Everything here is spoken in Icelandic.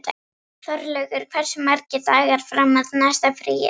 Þórlaugur, hversu margir dagar fram að næsta fríi?